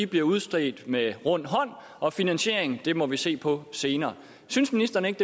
bliver udstedt med rund hånd og finansieringen må vi se på senere synes ministeren ikke